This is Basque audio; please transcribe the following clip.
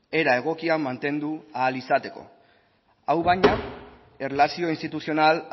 era egokian mantendu ahal izateko hau baina erlazio instituzional